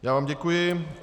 Já vám děkuji.